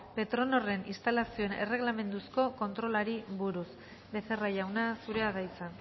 petronorren instalazioen erregelamenduzko kontrolari buruz becerra jauna zurea da hitza